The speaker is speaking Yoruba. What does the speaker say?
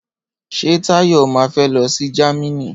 Ṣé Táyọ̀ ma fé lọsí Jámínì?